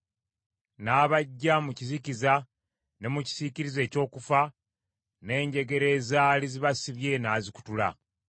n’abaggya mu kizikiza ne mu kisiikirize eky’okufa; n’enjegere ezaali zibasibye n’azikutula.